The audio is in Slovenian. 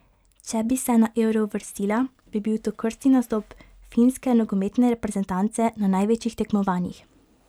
Če bi se na Euro uvrstila, bi bil to krstni nastop finske nogometne reprezentance na največjih tekmovanjih.